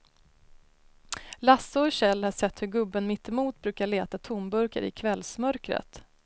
Lasse och Kjell har sett hur gubben mittemot brukar leta tomburkar i kvällsmörkret.